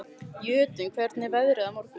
Jötunn, hvernig er veðrið á morgun?